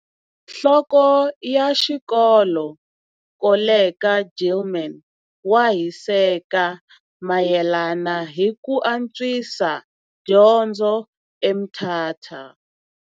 Nhloko ya xikolo Koleka Gilman wa hiseka mayelana hi ku antswisa dyondzo eMthatha.